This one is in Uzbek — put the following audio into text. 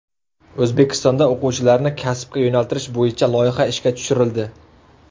O‘zbekistonda o‘quvchilarni kasbga yo‘naltirish bo‘yicha loyiha ishga tushirildi.